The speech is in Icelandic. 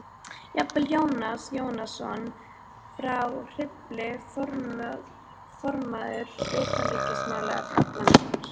Jafnvel Jónas Jónsson frá Hriflu, formaður utanríkismálanefndar